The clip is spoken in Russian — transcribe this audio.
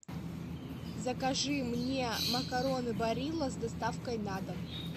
закажи мне макароны барилла с доставкой на дом